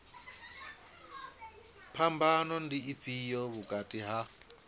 phambano ndi ifhio vhukati ha